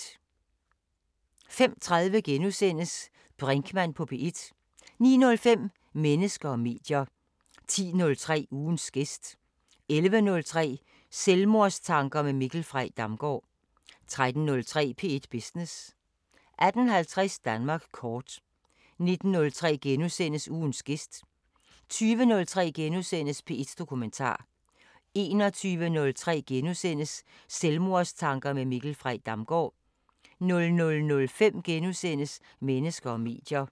05:30: Brinkmann på P1 * 09:05: Mennesker og medier 10:03: Ugens gæst 11:03: Selvmordstanker med Mikkel Frey Damgaard 13:03: P1 Business 18:50: Danmark kort 19:03: Ugens gæst * 20:03: P1 Dokumentar * 21:03: Selvmordstanker med Mikkel Frey Damgaard * 00:05: Mennesker og medier *